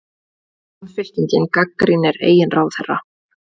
Samfylkingin gagnrýnir eigin ráðherra